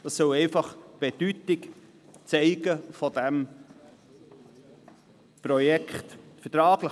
Dies soll die Bedeutung des Projekts zeigen.